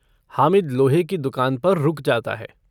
हामिद लोहे की दूकान पर रुक जाता है।